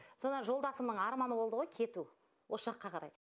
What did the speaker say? сонан жолдасымның арманы болды ғой кету осы жаққа қарай